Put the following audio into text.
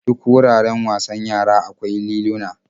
Duka wuraren wasan yara akwai liluna.